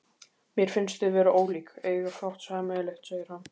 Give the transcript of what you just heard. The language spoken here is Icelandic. Mér finnst þið vera ólík, eiga fátt sameiginlegt, segir hann.